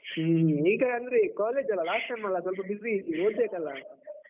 ಹ್ಮ್, ಈಗ ಅಂದ್ರೆ college ಅಲ್ಲ last sem ಅಲ್ಲ ಸ್ವಲ್ಪ busy ಓದ್ಬೇಕಲ್ಲ?